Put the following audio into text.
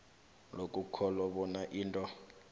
lokukholwa bona into